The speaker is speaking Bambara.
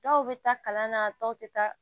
Dɔw bɛ taa kalan na dɔw tɛ taa